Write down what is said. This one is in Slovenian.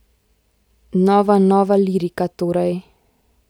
Nova Nova lirika torej?